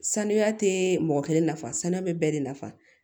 Sanuya tɛ mɔgɔ kelen nafa sanuya bɛ bɛɛ de nafa